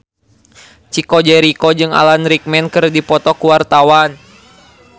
Chico Jericho jeung Alan Rickman keur dipoto ku wartawan